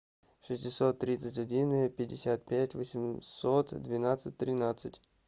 шестьсот тридцать один пятьдесят пять восемьсот двенадцать тринадцать